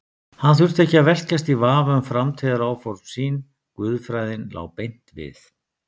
Hann þurfti ekki að velkjast í vafa um framtíðaráform sín, guðfræðin lá beint við.